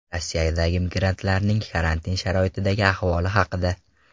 Rossiyadagi migrantlarning karantin sharoitidagi ahvoli haqida.